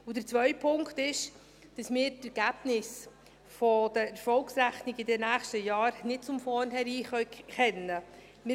Der zweite Punkt ist, dass wir die Ergebnisse der Erfolgsrechnung der nächsten Jahre nicht zum vornherein kennen können.